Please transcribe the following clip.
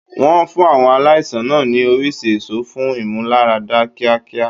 Wọn fún àwọn aláìsàn náà ní oríṣi èso fún ìmúláradá kíákíá.